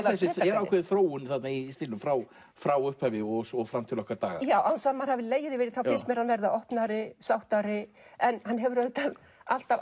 ákveðin þróun í stílnum frá frá upphafi og fram til okkar daga án þess að maður hafi legið yfir því finnst mér hann vera opnari sáttari en hann hefur auðvitað alltaf